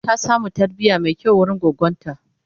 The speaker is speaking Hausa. ta samu tarbiya Mai kyau wurin goggonta